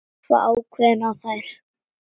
Horfa ákveðin á þær.